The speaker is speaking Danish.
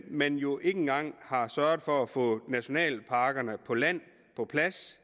man jo ikke engang har sørget for at få nationalparkerne på land på plads